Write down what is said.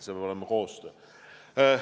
See peab olema koostöö.